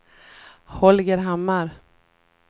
Holger Hammar